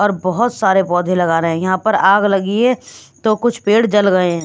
और बहुत सारे पौधे लगा रहे हैं यहाँ पर आग लगी है तो कुछ पेड़ जल गए हैं।